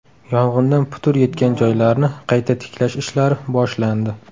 Yong‘indan putur yetgan joylarni qayta tiklash ishlari boshlandi.